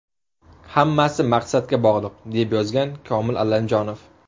Hammasi maqsadga bog‘liq!”, deb yozgan Komil Allamjonov.